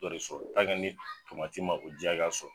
Dɔ re sɔrɔ ma o ji hakɛya sɔrɔ